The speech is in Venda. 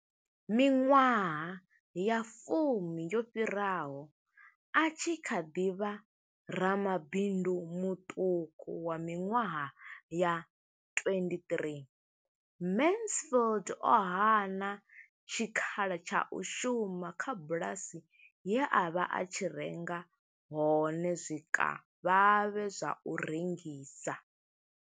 Miṅwaha ya fumi yo fhiraho, a tshi kha ḓi vha ramabindu muṱuku wa miṅwaha ya 23, Mansfield o hana tshikhala tsha u shuma kha bulasi ye a vha a tshi renga hone zwikavhavhe zwa u rengisa.